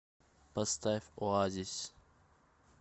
поставь оазис